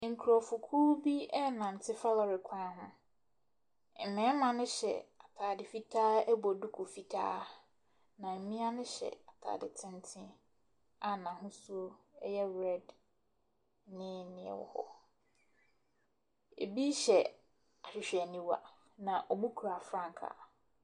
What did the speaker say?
Nkurɔfokuo bi renante fa kɔre kwan ho. Mmarima no hyɛ atade fitaa bɔ duku fitaa, na mmea no hyɛ atade tenten a n'ahosuo yɛ red ne nea ɛwɔ hɔ. Ebi hyɛ ahwehwɛniwa, na wɔkura frankaa.